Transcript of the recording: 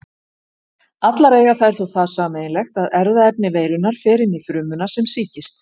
Allar eiga þær þó það sameiginlegt að erfðaefni veirunnar fer inn frumuna sem sýkist.